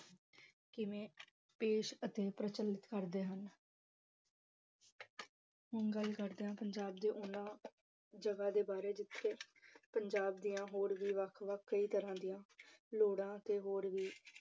ਕਿਵੇਂ ਪੇਸ ਅਤੇ ਪ੍ਰਚੱਲਿਤ ਕਰਦੇ ਹਨ ਹੁਣ ਗੱਲ ਕਰਦੇ ਹਾਂ ਪੰਜਾਬ ਦੇ ਉਹਨਾਂ ਜਗ੍ਹਾ ਦੇ ਬਾਰੇ ਜਿੱਥੇ ਪੰਜਾਬ ਦੀਆਂ ਹੋਰ ਵੀ ਵੱਖ ਕਈ ਤਰ੍ਹਾਂ ਦੀਆਂ ਲੋੜਾਂ ਤੇ ਹੋਰ ਵੀ